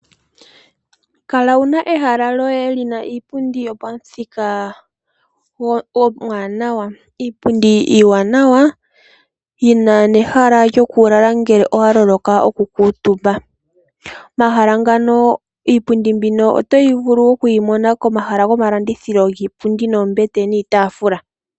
Kala wu na ehala lyoye li na iipundi yo pamuthika omuwanawa, iipundi iiwanawa yi na nehala lyokulala ngele owa loloka okukuutumba. Iipundi mbino oto vulu okuyi mona komahala gomalandithilo giipundi, noombete niitafula.